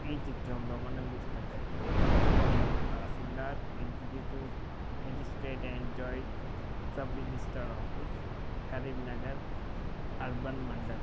ఈ చిత్రంలో మనం చూస్తున్నట్టయితే ఇది ఒక tahsildar executive magistrate and joint sub registrar office Karimnagar urban mandal